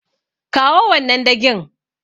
Kawo wannan dagin.